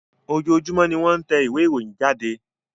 Ojoojúmọ́ ni wọ́n tẹ ìwé ìròyìn jáde.